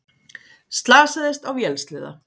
Slasaðist á vélsleða